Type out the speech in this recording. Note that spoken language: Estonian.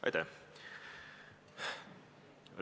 Aitäh!